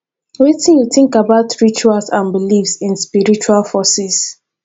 wetin you think about rituals and beliefs in spiritual forces